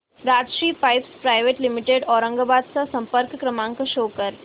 Rajshri pipes private limited Aurangabad चा संपर्क क्रमांक शो कर